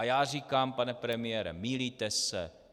A já říkám: Pane premiére, mýlíte se.